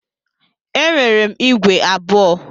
Enwere m ígwè abụọ.